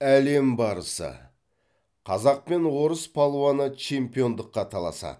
әлем барысы қазақ пен орыс палуаны чемпиондыққа таласады